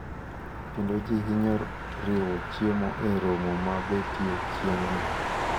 Kendo ji hinyo riwo chiemo e romo ma betie chieng`ni.